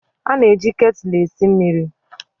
A na-eji ketụlụ esi mmịrị.